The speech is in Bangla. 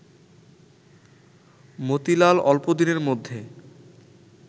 মতিলাল অল্প দিনের মধ্যে